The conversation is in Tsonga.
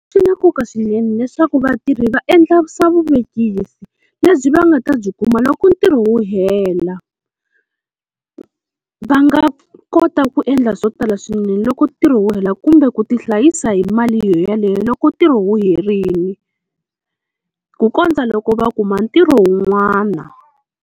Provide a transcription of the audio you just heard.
Swi na nkoka swinene leswaku vatirhi va endla swa vuvekisi lebyi va nga ta byi kuma loko ntirho wu hela. Va nga kota ku endla swo tala swinene loko ntirho wu hela kumbe ku tihlayisa hi mali yoyaleyo loko ntirho wu herile, ku kondza loko va kuma ntirho wun'wana.